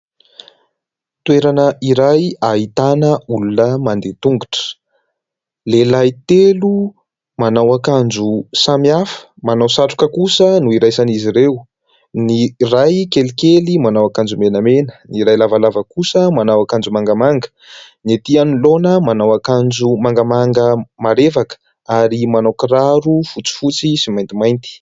Toerana iray ahitana olona mandeha tongotra. Lehilahy telo manao akanjo samy hafa, manao satroka kosa no iraisan'izy ireo. Ny iray kelikely manao akanjo menamena, ny iray lavalava kosa manao akanjo mangamanga. Ny etỳ anoloana manao akanjo mangamanga marevaka ary manao kiraro fotsifotsy sy maintimainty.